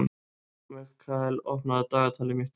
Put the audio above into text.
Mikkael, opnaðu dagatalið mitt.